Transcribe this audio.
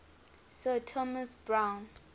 sir thomas browne